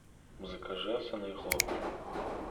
закажи овсяные хлопья